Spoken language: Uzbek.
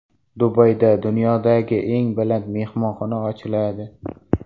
Dubayda dunyodagi eng baland mehmonxona ochiladi.